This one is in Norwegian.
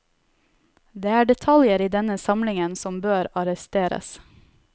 Det er detaljer i denne samlingen som bør arresteres.